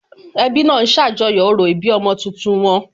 Ẹbí náà ń ṣàjọyọ̀ orò ìbí ọmọ tuntun wọn